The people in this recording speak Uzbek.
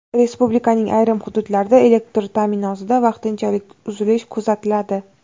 Respublikaning ayrim hududlarida elektr ta’minotida vaqtinchalik uzilish kuzatiladi.